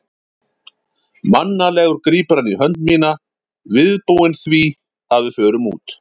Mannalegur grípur hann í hönd mína, viðbúinn því að við förum út.